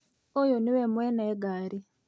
Ũyũnĩ we mwene ngari